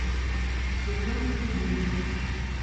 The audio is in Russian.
светлана кудинова